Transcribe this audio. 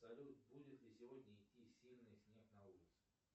салют будет ли сегодня идти сильный снег на улице